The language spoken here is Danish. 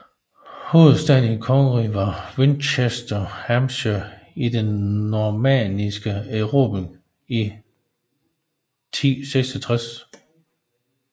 Hovedstaden i kongeriget var Winchester i Hampshire til den normanniske erobring i 1066